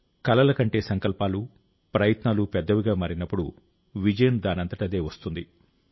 కలలకంటే సంకల్పాలు ప్రయత్నాలు పెద్దవిగా మారినప్పుడు విజయం దానంతటదే వస్తుంది